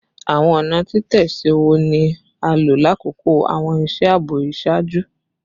Awọn ọna titẹsi wo ni a lo lakoko awọn iṣẹ aabo iṣaaju?